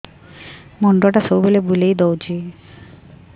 ମୁଣ୍ଡଟା ସବୁବେଳେ ବୁଲେଇ ଦଉଛି